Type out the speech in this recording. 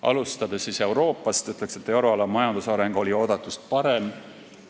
Alustades Euroopast, ütlen, et euroala majandusareng oli oodatust parem.